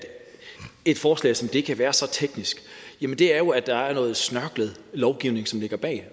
et forslag som det her kan være så teknisk jamen det er jo at der er noget snørklet lovgivning som ligger bag